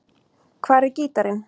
Hvar er gítarinn?